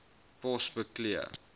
pos beklee